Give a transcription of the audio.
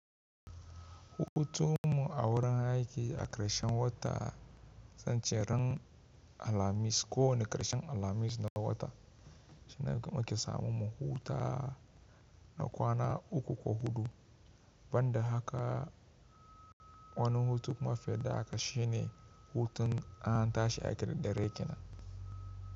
Hutun mu a wurin aiki a ƙarshen wata, zan ce ran Alhamis ko wane ƙarshen Alhamis na wata shine muke samun mu huta na kwana uku ko huɗu. Banda haka, wani hutu kuma fiye da haka shine hutun an tashi aiki da dare kenan.